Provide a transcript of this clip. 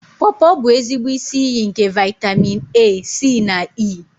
Pọọpọ bụ ezigbo isi iyi nke vaịtamịn A, C na E.